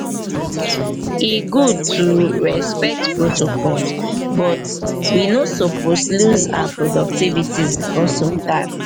e good to respect protocols but we no suppose lose our productivity bicos of dat.